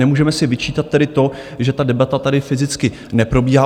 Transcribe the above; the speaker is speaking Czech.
Nemůžeme si vyčítat tedy to, že ta debata tady fyzicky neprobíhá.